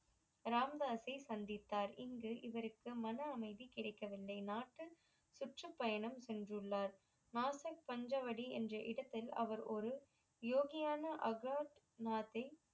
ராமதாஸ்சை சந்தித்தார் இங்கு இவருக்கு மன அமைதி கிடைக்க வில்லை நாட்டு சுற்று பயணம் சென்று உள்ளார் நாசக் பஞ்சவடி என்ற இடத்தில் அவர் ஒரு யோகியான ஆகாத் நாத்தை